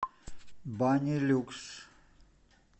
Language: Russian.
банилюкс